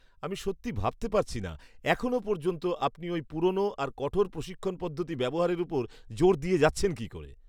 আমি সত্যি ভাবতে পারছি না এখনও পর্যন্ত আপনি ওই পুরনো আর কঠোর প্রশিক্ষণ পদ্ধতি ব্যবহারের ওপর জোর দিয়ে যাচ্ছেন কী করে!